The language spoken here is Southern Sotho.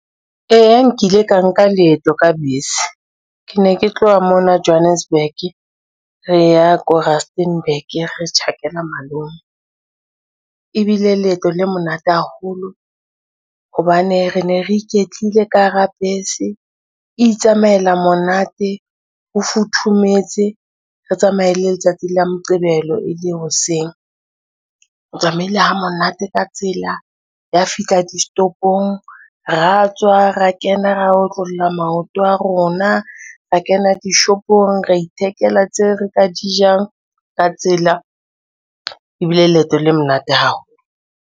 Eya nkile ka nka leeto ka bese. Ke ne ke tloha mona Johannesburg re ya ko Rusternburg, re tjhakela malome. Ebile leeto le monate haholo hobane re ne re iketlile ka hara bese, itsamaela monate ho futhumetse re tsamaya e le letsatsi la Moqebelo e le hoseng. Re tsamaile ha monate ka tsela, ya fihla distopong, ra tswa ra kena, ra otlolla maoto a rona, ra kena dishopong ra ithekela tseo re ka di jang ka tsela ebile leeto le monate haholo.